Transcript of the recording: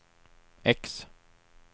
X